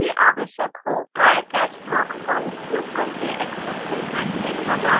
जब भी आवश्यक हो trycatch blocks का उपयोग करके exception handling प्रदान करें